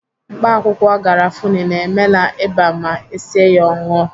Mkpaakwụkwọ garafuni na-emela ịba ma esie ya ṅụọ.